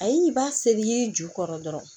Ayi ba seri yiri ju kɔrɔ dɔrɔn